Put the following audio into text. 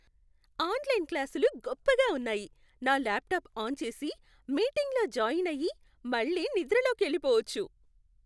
Online క్లాసులు గొప్పగా ఉన్నాయి. నా ల్యాప్టాప్ ఆన్ చేసి, మీటింగ్లో జాయిన్ అయ్యి, మళ్ళీ నిద్రలోకెళ్ళిపోవచ్చు.